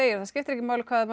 það skiptir ekki máli hvað maður